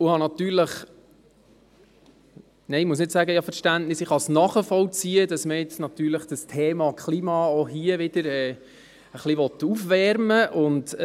Ich habe natürlich Verständnis – nein, ich kann nicht sagen, ich hätte Verständnis –, ich kann nachvollziehen, dass man das Thema Klima auch hier wieder ein bisschen aufwärmen will.